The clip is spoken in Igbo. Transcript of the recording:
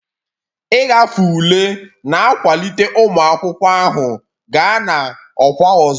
Ịgafe ule na-akwalite ụmụ akwụkwọ ahụ gaa na ọkwa ọzọ.